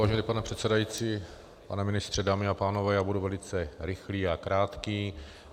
Vážený pane předsedající, pane ministře, dámy a pánové, já budu velice rychlý a krátký.